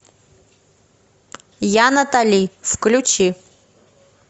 я натали включи